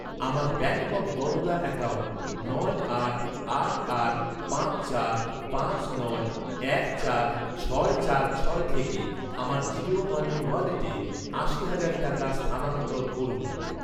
আমার Bank of Baroda account নয় আট আট আট পাঁচ চার পাঁচ নয় এক চার ছয় চার ছয় থেকে আমার জিও মানি ওয়ালেটে আশি হাজার টাকা স্থানান্তর করুন